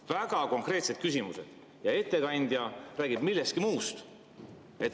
Väga konkreetsed küsimused, aga ettekandja räägib millestki muust.